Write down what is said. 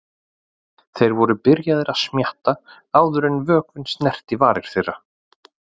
Þeir eru byrjaðir að smjatta áður en vökvinn snertir varir þeirra.